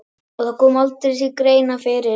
Og það kom aldrei til greina fyrir